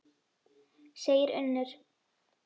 segir Unnur.